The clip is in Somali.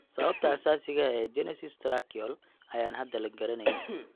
Sababta asaasiga ah ee agenesis tracheal ayaan hadda la garanayn.